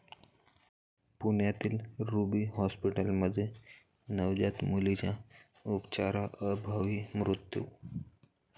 पुण्यातील रुबी हॉस्पिटलमध्ये नवजात मुलीचा उपचाराअभावी मृत्यू